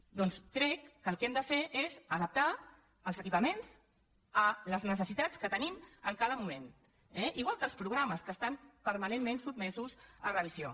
per tant crec que el que hem de fer és adaptar els equipaments a les necessitats que tenim en cada moment eh igual que els programes que estan permanentment sotmesos a revisió